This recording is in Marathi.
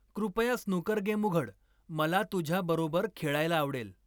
कृपया स्नूकर गेम उघड मला तुझ्याबरोबर खेळायला आवडेल